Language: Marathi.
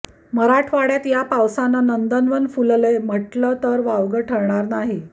मराठवाड्यात या पावसाने नंदनवन फुललंय म्हणलं तर वावगं ठरणार नाही